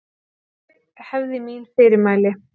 Ég hefði mín fyrirmæli.